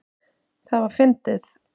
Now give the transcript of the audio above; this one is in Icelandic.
Það var fyndið.